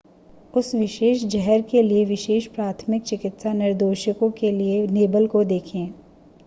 उस विशेष जहर के लिए विशेष प्राथमिक चिकित्सा निर्देशों के लिए लेबल को देखें